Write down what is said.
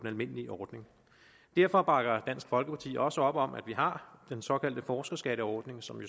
almindelige ordning derfor bakker dansk folkeparti også op om at vi har den såkaldte forskerskatteordning som